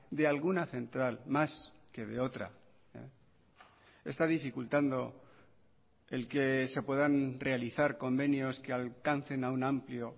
de alguna central más que de otra está dificultando el que se puedan realizar convenios que alcancen a un amplio